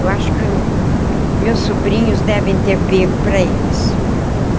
Eu acho que meus sobrinhos devem ter pego para eles.